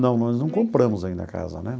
Não, nós não compramos ainda a casa, né?